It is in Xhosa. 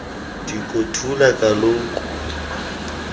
diko thula kaloku